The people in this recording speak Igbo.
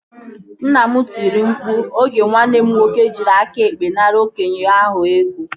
Nna m tiri mkpu oge nwanne m nwoke jiri aka ekpe nara okenye ahụ ego